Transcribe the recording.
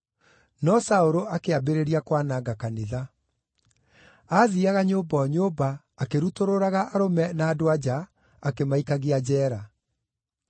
No Saũlũ akĩambĩrĩria kwananga kanitha. Aathiiaga nyũmba o nyũmba, akĩrutũrũraga arũme na andũ-a-nja, akĩmaikagia njeera.